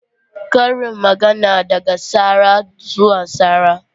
Karin magana daga tsara zuwa tsara.